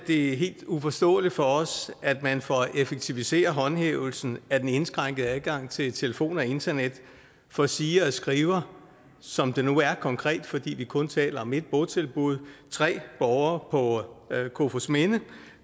helt uforståeligt for os at man for at effektivisere håndhævelsen af den indskrænkede adgang til telefon og internet for siger og skriver som det nu er konkret fordi vi kun taler om ét botilbud tre borgere på kofoedsminde